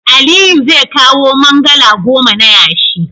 Aliyu zai kawo mangalaa goma na yashi.